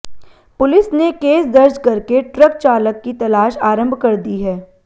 police ने case दर्ज करके ट्रक चालक की तलाश आरंभ कर दी है